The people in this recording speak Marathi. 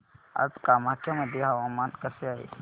आज कामाख्या मध्ये हवामान कसे आहे